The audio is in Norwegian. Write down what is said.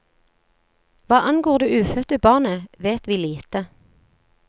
Hva angår det ufødte barnet, vet vi lite.